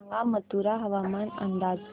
सांगा मथुरा हवामान अंदाज